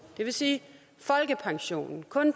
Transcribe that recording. vil sige folkepensionister